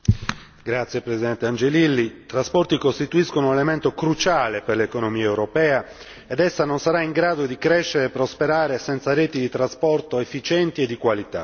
Signora Presidente, i trasporti costituiscono un elemento cruciale per l'economia europea ed essa non sarà in grado di crescere e prosperare senza reti di trasporto efficienti e di qualità.